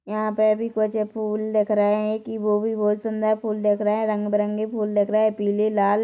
यहाँ पे भी कुछ फूल दिख रहे हैं की वो भी बहुत सुंदर फूल दिख रहे हैं रंग-बिरंगी फूल दिख रहे हैं पिले लाल--